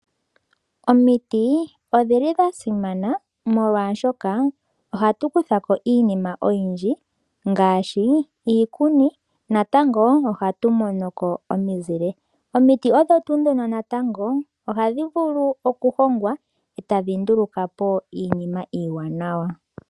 Omiti odhili dha simana molwashoka ohatu kuthako iinima oyindji ngaashi iikuni, natango ohatu monoko omizile. Omiti odho tuu dhono natango ohadhi vulu okuhongwa eta dhi nduulukapo iinima iiwanawa.